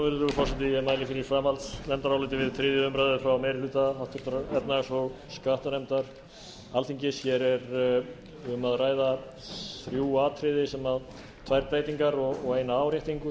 við þriðju umræðu frá meiri hluta háttvirtrar efnahags og skattanefndar alþingis hér er um að ræða þrjú atriði tvær breytingar og eina áréttingu